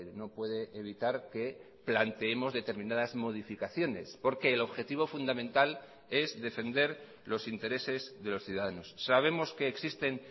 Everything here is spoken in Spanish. no puede evitar que planteemos determinadas modificaciones porque el objetivo fundamental es defender los intereses de los ciudadanos sabemos que existen